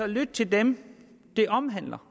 lytte til dem det omhandler